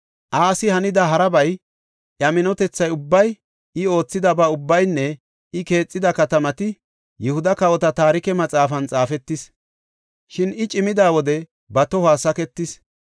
Asi hanida harabay, iya minotethay ubbay, I oothidaba ubbaynne I keexida katamati Yihuda Kawota Taarike Maxaafan xaafetis. Shin I cimida wode ba tohuwa saketis.